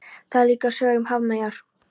Það eru líka sögur um hafmeyjar.